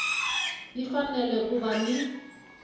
yi fanele ku va ni